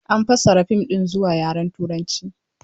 An fassara fim ɗin zuwa yaren Turanci.